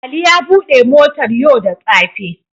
Ali ya bude motar yau da tsafe.